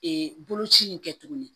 Ee boloci in kɛ tuguni